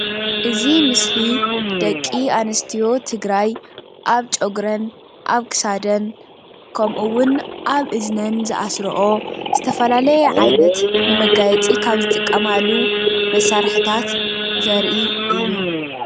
እዚ ምስሊ ደቂ ኣነስትዮ ትግራይ ኣብ ጨጉረን ኣብ ክሳደን ከምኡ እውን ኣብ እዝነን ዝኣስረኦ ዝተፈላለየ ዓይነት ንመጋየፂ ካብ ዝጥቀማሉ መሳርሕታት ዘርኢ እዩ፡፡